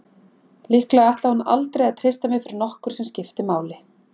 Líklega ætlaði hún aldrei að treysta mér fyrir nokkru sem skipti máli.